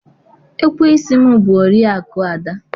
ekweisi m bụ Oriakụ Ada